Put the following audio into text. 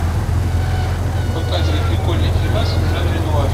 показывай прикольный фильмас в жанре нуар